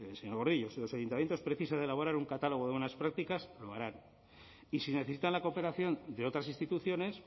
señor gordillo si los ayuntamientos precisan de elaborar un catálogo buenas prácticas lo harán y si necesitan la cooperación de otras instituciones